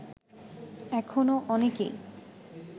এখনও অনেকেই